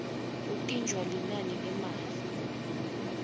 kuntintja linani lemali